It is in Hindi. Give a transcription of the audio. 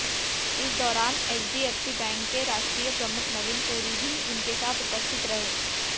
इस दौरान एचडीएफसी बैंक के राष्ट्रीय प्रमुख नवीन पुरी भी उनके साथ उपस्थित रहे